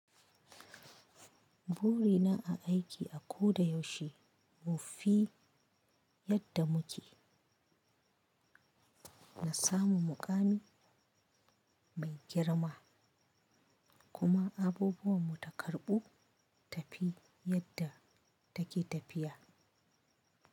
Burina a aiki a ko da yaushe mu fi yadda muke na samu muƙami mai girma kuma abubuwan mu ta karɓu tafi yadda take tafiya.